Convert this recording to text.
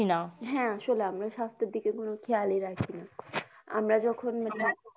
হ্যা আসলে আমরা সাস্থ্যএর দিকে কোনো খেয়াল রাখিনা। আমরা যখন ।